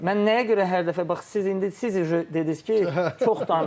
Mən nəyə görə hər dəfə, bax siz indi siz dediniz ki, çox danışdı.